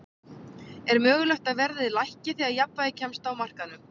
Er mögulegt að verðið lækki þegar jafnvægi kemst á á markaðnum?